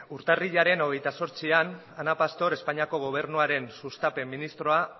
urtarrilaren hogeita zortzian ana pastor espainiako gobernuaren sustapen ministroa